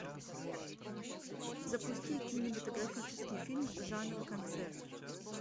запусти кинематографический фильм жанра концерт